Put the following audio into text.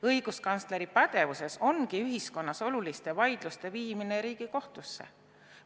Õiguskantsleri pädevuses ongi ühiskonnas oluliste vaidluste viimine Riigikohtusse.